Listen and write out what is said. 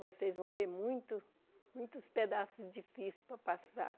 Vocês vão ter muitos muitos pedaços difíceis para passar.